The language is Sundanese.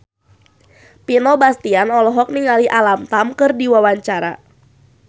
Vino Bastian olohok ningali Alam Tam keur diwawancara